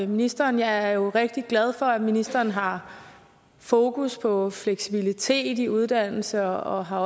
ministeren jeg er jo rigtig glad for at ministeren har fokus på fleksibilitet i uddannelse og også har